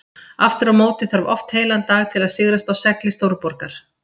Aftur á móti þarf oft heilan dag til að sigrast á segli stórborgar.